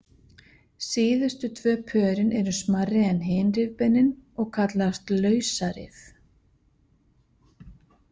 Síðustu tvö pörin eru smærri en hin rifbeinin og kallast lausarif.